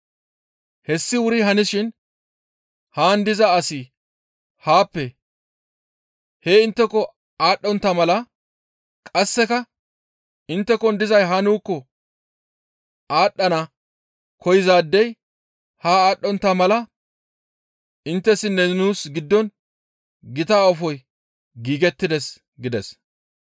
Hessi wuri hanishin haan diza asi haappe hee intteko aadhdhontta mala qasseka inttekon dizay haa nuukko aadhdhana koyzaadey haa aadhdhontta mala inttessinne nuus giddon gita aafoy giigettides› gides.